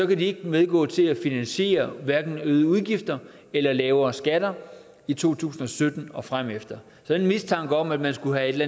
kan de ikke medgå til at finansiere øgede udgifter eller lavere skatter i to tusind og sytten og fremefter den mistanke om at man skulle have et